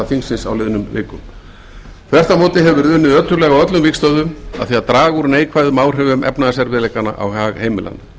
þingsins á liðnum vikum þvert á móti hefur verið unnið ötullega á öllum vígstöðvum að því að draga úr neikvæðum áhrifum efnahagsleikanna á hag heimilanna